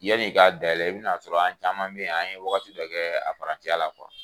Yan'i k'a dayɛlɛ i bɛn'a sɔrɔ an caman bɛ yen, an ye waati dɔ kɛ a parantiya la kuwa.